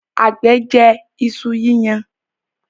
àgbẹ̀ jẹ iṣu yíyan.